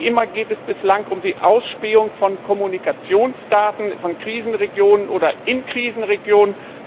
Wie immer geht es bislang um die Ausspähung von Kommunikationsdaten von oder in Krisenregionen.